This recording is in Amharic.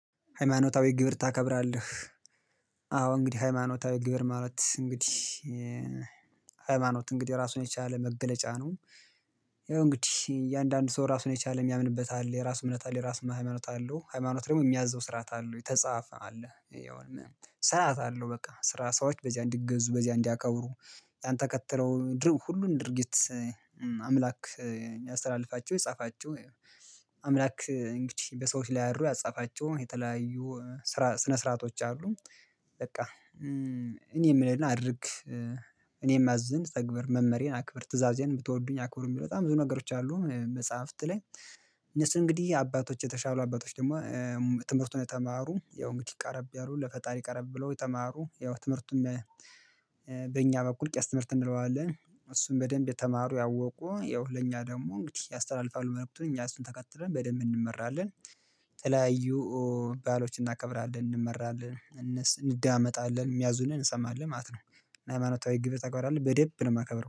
ሃይማኖታዊ ግብር ታከብራለህ አዎ እንግዲህ ሃይማኖታዊ ግብር ማለት እንግዲህ ሃይማኖት እንግዲህ ራሱን የቻለ መገለጫ ነው። እንግዲህ እያንዳንዱ ሰው ራሱን የቻለ የሚያምንበት አለ የራስ እምነት አለ የራሱ ሃይማኖት አለው። ሃይማኖት ደግሞ የሚያዘው ስርዓት አለው የተጻፈ አለ የሆነ ስርዓት አለው። በቃ ስራ ሰዎች በዚያ እንዲገዙ በዚያ እንዲያከብሩ ያን ተከትለው ሁሉን ድርጊት። አምላክ ያስተላልፋቸው ያጻፋቸው አምላክ እንግዲህ በሰዎች ላይ አድሮ ያጻፋቸው የተለያዩ ስራ ስርዓቶች አሉ። በቃ እኔ የምልሕን አድርግ እኔ ማዝህን ተግብር መመሪያየን አክብር ትእዛዜን ብትወዱኝ አክብሩ የሚሉ በጣም ብዙ ነገሮች አሉ። መጽሐፍት ላይ እነሱ እንግዲህ አባቶች የተሻሉ አባቶች ደግሞ ትምህርቱን የተማሩ ያው እንግዲህ ቀረብ ያሉ ለፈጣሪ ቀረብ ብለው የተማሩ ያው ትምህርቱም በእኛ በኩል ቄስ ትምህርት እንለዋለን። እሱን በደንብ የተማሩ ያወቁ ያው ለእኛ ደግሞ እንግዲህ ያስተላልፋሉ ትምርቱን እኛ እሱን ተከትለን በደንብ እንመራለን። የተለያዩ ባህሎችን እናከብራለን እንመራለን እነሱን እንደማመጣለን የሚያዙንን እንሰማለን ማለት ነው። ሃይማኖታዊ ግብር ተግባርአለ በደንብ ነው የማከብረው